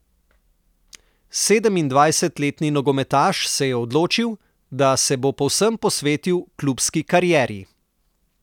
Sedemindvajsetletni nogometaš se je odločil, da se bo povsem posvetil klubski karieri.